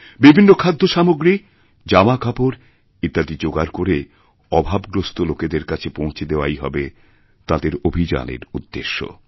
বিভিন্ন খাদ্য সামগ্রী জামাকাপড়ইত্যাদি জোগাড় করে অভাবগ্রস্ত লোকেদের কাছে পৌঁছে দেওয়াই হবে তাঁদের অভিযানেরউদ্দেশ্য